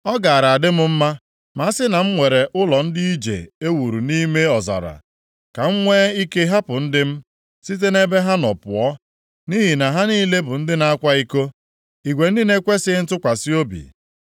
Ọ gaara adị m mma ma a sị na m nwere ụlọ ndị ije e wuru nʼime ọzara. Ka m nwee ike hapụ ndị m site nʼebe ha nọ pụọ. Nʼihi na ha niile bụ ndị na-akwa iko, igwe ndị na-ekwesighị ntụkwasị obi.